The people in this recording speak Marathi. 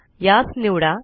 यास निवडा